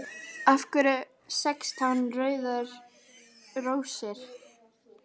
Af hverju sextán rauðar rósir?